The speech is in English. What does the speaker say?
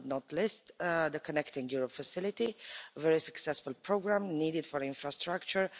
Last but not least, the Connecting Europe Facility is a very successful programme needed for infrastructure.